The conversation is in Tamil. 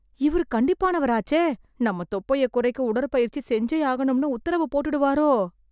இவரு கண்டிப்பானவராச்சே... நம்ம தொப்பையை குறைக்க உடற்பயிற்சி செஞ்சே ஆகணும்னு உத்தரவு போட்டுடுவாரோ...